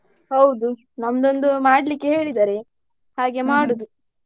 ಹೌದು ನಮ್ದು ಒಂದು ಮಾಡ್ಲಿಕ್ಕೆ ಹೇಳಿದ್ದಾರೆ ಹಾಗೆ .